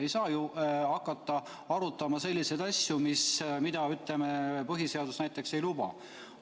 Ei saa ju hakata arutama selliseid asju, mida põhiseadus ei luba.